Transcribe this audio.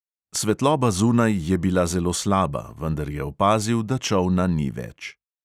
Svetloba zunaj je bila zelo slaba, vendar je opazil, da čolna ni več.